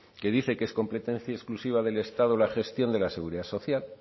que dice que es competencia exclusiva del estado la gestión de la seguridad social